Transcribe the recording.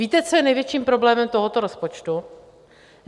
Víte, co je největším problémem tohoto rozpočtu?